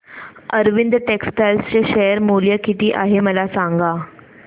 Arvind textile चे share मूल्य किती आहे मला सांगा